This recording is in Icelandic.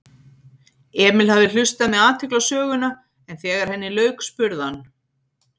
Emil hafði hlustað með athygli á söguna en þegar henni lauk spurði hann